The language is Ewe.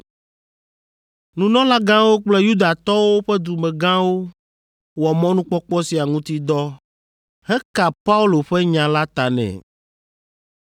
Nunɔlagãwo kple Yudatɔwo ƒe dumegãwo wɔ mɔnukpɔkpɔ sia ŋuti dɔ heka Paulo ƒe nya la ta nɛ.